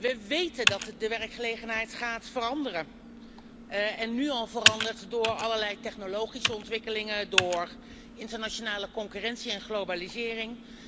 We weten dat de werkgelegenheid gaat veranderen en nu al verandert door allerlei technologische ontwikkelingen, internationale concurrentie en globalisering.